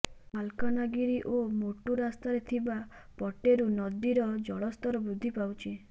ମାଲକାନଗିରି ଓ ମୋଟୁ ରାସ୍ତାରେ ଥିବା ପଟେରୁ ନଦୀର ଜଳସ୍ତର ବୃଦ୍ଧି ପାଉଛି